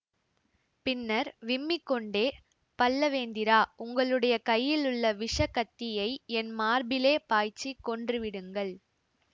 பின்னர் விம்மிக்கொண்டே பல்லவேந்திரா உங்களுடைய கையிலுள்ள விஷக் கத்தியை என் மார்பிலே பாய்ச்சிக் கொன்றுவிடுங்கள்